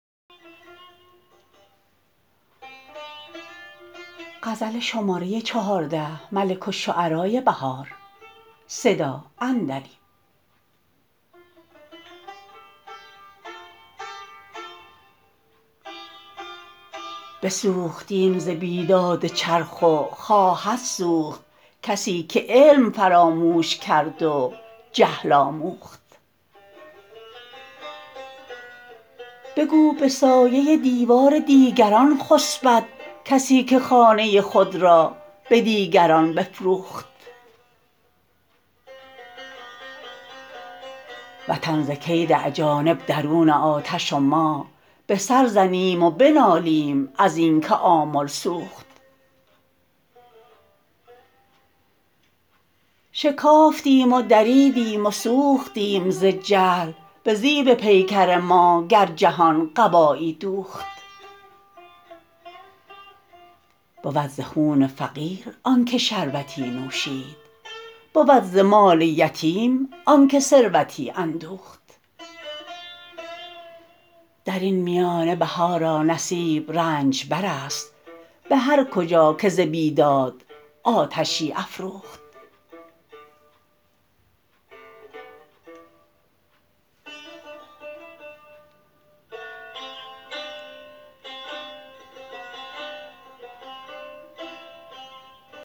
بسوختیم زبیداد چرخ و خواهد سوخت کسی که علم فراموش کرد و جهل آموخت بگو به سایه دیوار دیگران خسبد کسی که خانه خود را به دیگران بفروخت وطن زکید اجانب درون آتش و ما به سر زنیم و بنالیم از اینکه آمل سوخت شکافتیم و دربدیم و سوختیم ز جهل به زیب پیکر ما گر جهان قبایی دوخت بود زخون فقیرآنکه شربتی نوشید بود ز مال یتیم آنکه ثروتی اندوخت درین میانه بهارا نصیب رنجبر است به هر کجا که ز بیداد آتشی افروخت